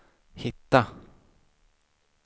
hitta